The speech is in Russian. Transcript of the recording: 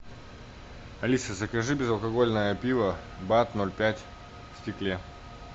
алиса закажи безалкогольное пиво бад ноль пять в стекле